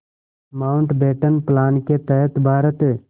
Mountbatten plan के तहत भारत